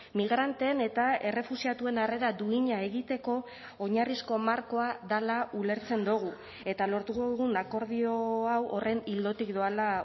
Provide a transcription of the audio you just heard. migranteen eta errefuxiatuen harrera duina egiteko oinarrizko markoa dela ulertzen dugu eta lortu dugun akordio hau horren ildotik doala